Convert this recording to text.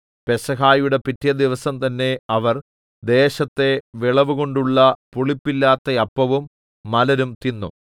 പെസഹയുടെ പിറ്റെ ദിവസം തന്നേ അവർ ദേശത്തെ വിളവുകൊണ്ടുള്ള പുളിപ്പില്ലാത്ത അപ്പവും മലരും തിന്നു